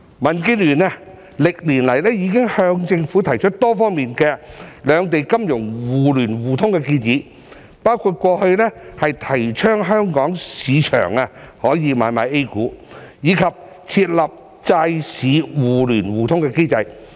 民建聯歷年來已向政府提出多方面的兩地金融互聯互通的建議，包括過去提倡香港市場可以買賣 A 股，以及設立債市互聯互通機制。